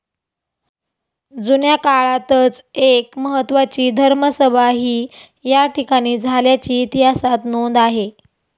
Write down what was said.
जुन्या काळातच एक महत्त्वाची धर्मसभाही या ठिकाणी झाल्याची इतिहासात नोंद आहे.